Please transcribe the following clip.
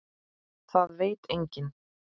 Það veit enginn.